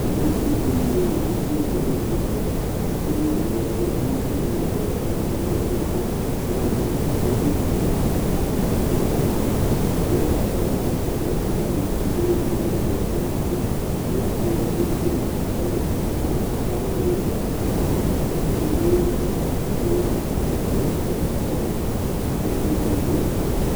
aluvi dini latɛ kualɛ nɛ ɛvɛ ka atani asɛ uti di ayu ɛdu kɛtu vlɛ flagui ké ému fă na ava ɛfoa asɛ flagui kɔ ɛfoabi asɛ flagui édifbo kɔ ɔlu édigbo bi azɛ flagui édigbo pɛ laku alu ɛdini ézi kɔlu ka adu awu wɛ ka akɔ ɛkɔtɔ ɛdibi yă vu ku akakɔsu ɛsɛ boa kɔ alu woa ni kékélé